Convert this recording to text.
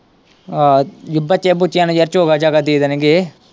ਆਹੋ ਬੱਚਿਆਂ-ਬੂਚਿਆਂ ਨੂੰ ਯਾਰ ਚੋਗਾ-ਚਾਗਾ ਦੇ ਦੇਣਗੇ।